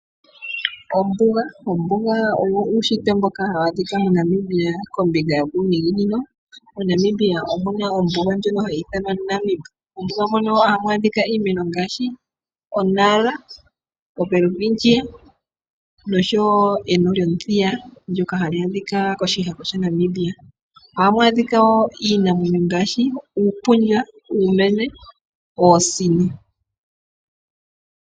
Ombuga Ombuga owo uunshitwe mboka hawu adhika moNamibia kombinga yokuuninginino. MoNamibia omu na ombuga ndjoka hayi ithanwa Namib. Mombuga mono ohamu adhika iimeno ngaashi okatanga kamuthithi, welwitchia noshowo eno lyomuthiya ndyokatali adhika koshihako shaNamibia. Ohamu adhika wo iinamwenyo ngaashi uupundja, uumenye noosino.